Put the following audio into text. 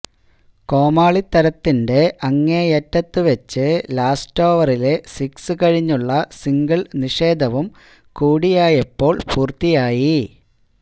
കോമാളിത്തരത്തിന്റെ അങ്ങേയറ്റത്തുവച്ച് ലാസ്റ്റോവറിലെ സിക്സ് കഴിഞ്ഞുള്ള സിംഗിള് നിഷേധവും കൂടിയായപ്പൊ പൂര്ത്തിയായി